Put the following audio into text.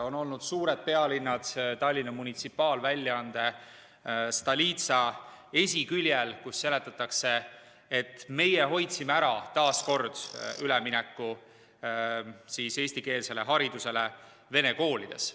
On olnud suur pealkiri Tallinna munitsipaalväljaande Stolitsa esiküljel, kus seletatakse, et meie hoidsime taas kord ära ülemineku eestikeelsele haridusele vene koolides.